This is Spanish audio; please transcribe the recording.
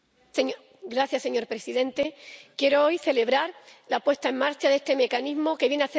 Señor presidente, quiero hoy celebrar la puesta en marcha de este mecanismo que viene a hacer más Europa